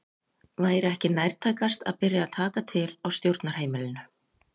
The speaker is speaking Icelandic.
Væri ekki nærtækast að byrja að taka til á stjórnarheimilinu?